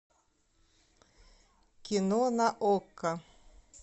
кино на окко